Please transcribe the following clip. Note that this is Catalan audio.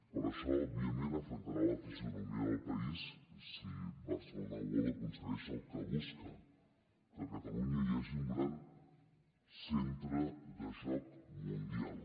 però això òbviament afectarà la fisonomia del país si barcelona world aconsegueix el que busca que a catalunya hi hagi un gran centre de joc mundial